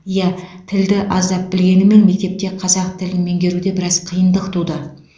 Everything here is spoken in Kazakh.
иә тілді аздап білгеніммен мектепте қазақ тілін меңгеруде біраз қиындық туды